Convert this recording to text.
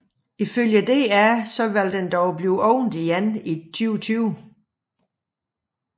Ifølge DR vil den dog blive åbnet igen i 2020